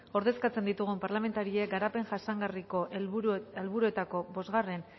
ordezkatzen ditugun parlamentariek garapen jasangarriko helburuetako bosgarren